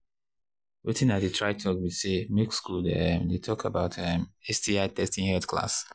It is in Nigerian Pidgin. watin i they try talk be say make school um they talk about um sti testing health class